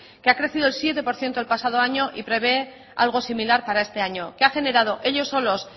que ha crecido el siete por ciento el pasado año y prevé algo similar para este año que ha generado ellos solos